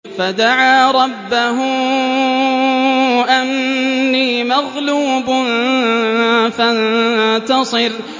فَدَعَا رَبَّهُ أَنِّي مَغْلُوبٌ فَانتَصِرْ